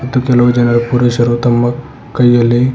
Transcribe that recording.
ಮತ್ತು ಕೆಲವು ಜನರು ಪುರುಷರು ತಮ್ಮ ಕೈಯಲ್ಲಿ--